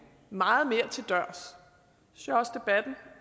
meget mere til dørs